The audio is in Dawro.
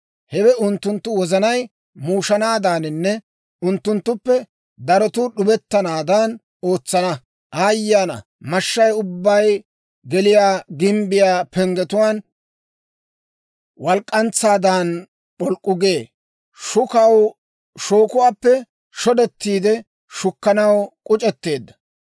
Hewe unttunttu wozanay muushanaadaninne unttunttuppe darotuu d'ubettanaadan ootsana. Aayye ana! Mashshay ubbay geliyaa gimbbiyaa penggetuwaan walk'k'antsaadan p'olk'k'u gee; shookuwaappe shodetiide shukkanaw k'uc'etteedda.